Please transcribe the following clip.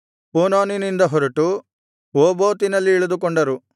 ಪೂನೋನಿನಿಂದ ಹೊರಟು ಓಬೋತಿನಲ್ಲಿ ಇಳಿದುಕೊಂಡರು